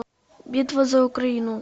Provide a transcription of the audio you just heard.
битва за украину